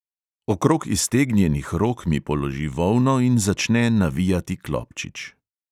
Okrog iztegnjenih rok mi položi volno in začne navijati klobčič.